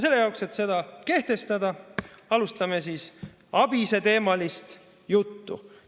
Selle jaoks, et seda kehtestada, alustame ABIS‑e teemal juttu.